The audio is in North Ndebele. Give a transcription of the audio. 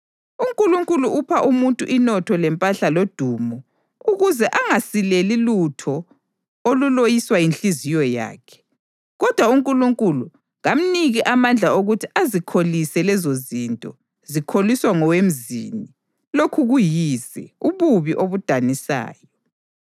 UNkulunkulu upha umuntu inotho lempahla lodumo ukuze angasileli lutho oluloyiswa yinhliziyo yakhe, kodwa uNkulunkulu kamniki amandla okuthi azikholise lezozinto, zikholiswa ngowemzini. Lokhu kuyize, ububi obudanisayo.